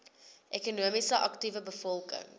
ekonomies aktiewe bevolking